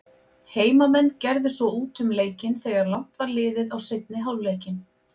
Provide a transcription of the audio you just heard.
Heimamenn gerðu svo út um leikinn þegar langt var liðið á seinni hálfleikinn.